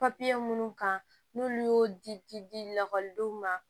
papiye munnu kan n'olu y'o di lakɔlidenw ma